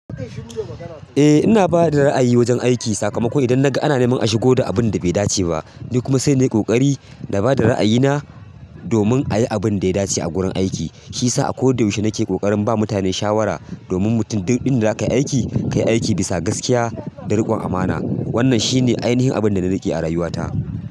Eh ina bada ra'ayi wajen aiki sakamakon idan ana neman a shigo da abun da bai dace ba, ni kuma sai na yi ƙoƙari da bada ra'ayina domin a yi abin da ya dace a gurin aiki. Shi sa a koda yaushe nake ƙoƙarin ba mutane shawara domin mutum duk in da zaka yi aiki, ka yi aiki bisa gaskiya da riƙon amana. Wannan shine ainihin abin da na riƙe a rayuwata.